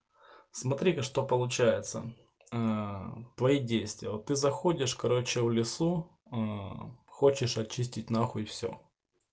смотри-ка что получается твои ээ действия вот ты заходишь короче в лесу хочешь очистить нахуй все